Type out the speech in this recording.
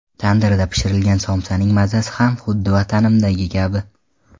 Tandirda pishirilgan somsaning mazasi ham xuddi vatanimdagi kabi.